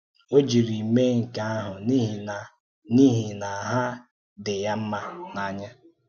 Ó jiri mee nke ahụ̀ n’ihi na n’ihi na hà dì ya mma n’áńyá.